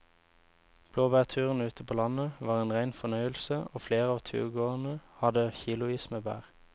Blåbærturen ute på landet var en rein fornøyelse og flere av turgåerene hadde kilosvis med bær.